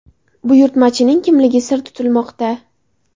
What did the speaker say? Buyurtmachining kimligi sir tutilmoqda.